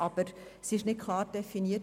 Aber es ist nicht klar definiert.